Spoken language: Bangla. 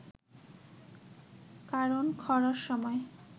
কারণ খরার সময়